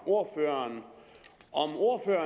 ordføreren